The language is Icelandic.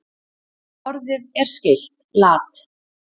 Orðið er skylt lat.